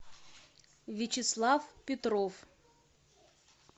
вячеслав петров